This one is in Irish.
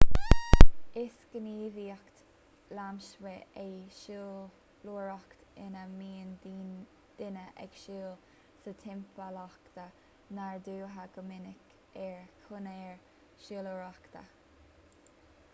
is gníomhaíocht lasmuigh é siúlóireacht ina mbíonn duine ag siúl sa timpeallacht nádúrtha go minic ar chonair shiúlóireachta